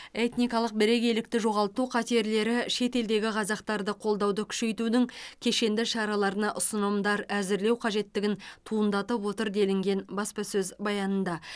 этникалық бірегейлікті жоғалту қатерлері шетелдегі қазақтарды қолдауды күшейтудің кешенді шараларына ұсынымдар әзірлеу қажеттігін туындатып отыр делінген баспасөз баянында